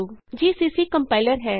GCC compiler ਹੈ